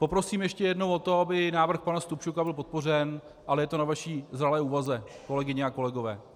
Poprosím ještě jednou o to, aby návrh pana Stupčuka byl podpořen, ale je to na vaší zralé úvaze, kolegyně a kolegové.